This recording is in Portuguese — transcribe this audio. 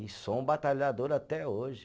E sou um batalhador até hoje.